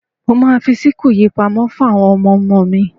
Mo ma fi síkù yìí pamọ́ fún àwọn ọmọmo mi.